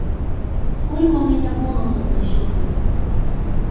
сколько у меня бонусов на счету